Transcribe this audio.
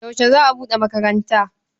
Yaushe za a buɗe makaranta?